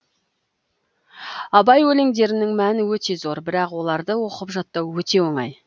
абай өлеңдерінің мәні өте зор бірақ оларды оқып жаттау өте оңай